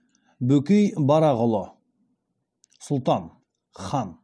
бөкей барақұлы сұлтан хан